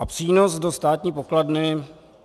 A přínos do státní pokladny?